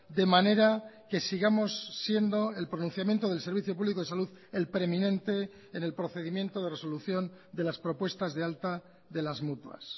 de manera que sigamos siendo el pronunciamiento del servicio público de salud el preeminente en el procedimiento de resolución de las propuestas de alta de las mutuas